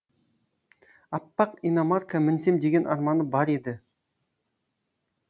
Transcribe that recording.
аппақ иномарка мінсем деген арманы бар еді